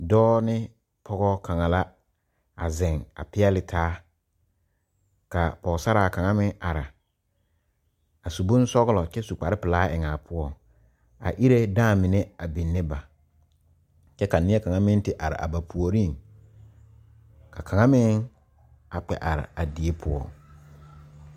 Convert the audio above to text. Dɔɔ ne pɔge kaŋ la a zeŋ a peɛle taa ka pɔgesaraa kaŋ meŋ a are a su bonsɔglɔ kyɛ su kparepelaa eŋ a poɔŋ ba iree dãã mine a biŋne ba kyɛ ka neɛ kaŋa meŋ te are a ba puoriŋ ka kaŋa meŋ a kpɛ are a die poɔŋ.